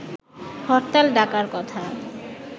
হরতাল ডাকার কথা